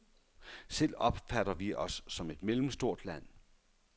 Selv opfatter vi os som et mellemstort land.